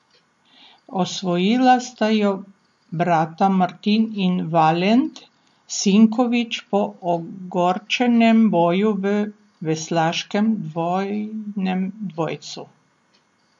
Osvojila sta jo brata Martin in Valent Sinković po ogorčenem boju v veslaškem dvojnem dvojcu.